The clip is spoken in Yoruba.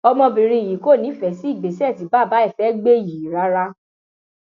ọmọbìnrin yìí kò nífẹẹ sí ìgbésẹ tí bàbá ẹ fẹẹ gbé yìí rárá